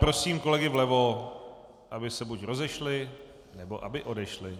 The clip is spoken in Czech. Prosím kolegy vlevo, aby se buď rozešli, nebo aby odešli.